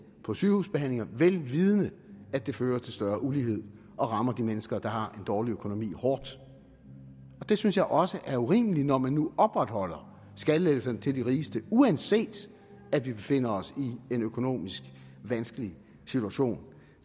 på sygehusbehandlinger vel vidende at det fører til større ulighed og rammer de mennesker der har en dårlig økonomi hårdt det synes jeg også er urimeligt når man nu opretholder skattelettelserne til de rigeste uanset at vi befinder os i en økonomisk vanskelig situation